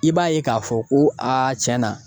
I b'a ye k'a fɔ ko a tiɲɛ na